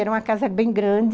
Era uma casa bem grande.